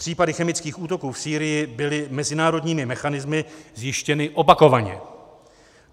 Případy chemických útoků v Sýrii byly mezinárodními mechanismy zjištěny opakovaně.